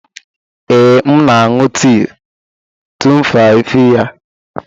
Ee, m na-aṅụ tii tumfafiya.